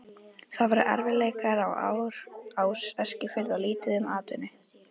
Það voru erfiðleikaár á Eskifirði og lítið um atvinnu.